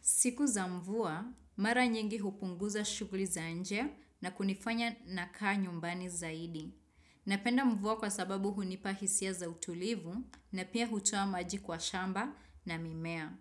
Siku za mvua, mara nyingi hupunguza shughuli za nje na kunifanya nakaa nyumbani zaidi. Napenda mvua kwa sababu hunipa hisia za utulivu na pia hutoa maji kwa shamba na mimea.